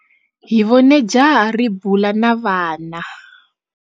Hi vone jaha ri bula na vana.